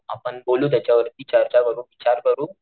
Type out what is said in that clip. आपण बोलू त्याच्यावरती चर्चा करू विचार करू,